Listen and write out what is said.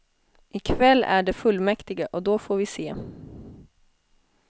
I kväll är det fullmäktige och då får vi se.